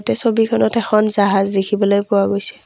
এই ছবিখনত এখন জাহাজ দেখিবলৈ পোৱা গৈছে।